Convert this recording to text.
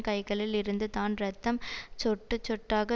கைகளில் இருந்து தான் இரத்தம் சொட்டுசொட்டாக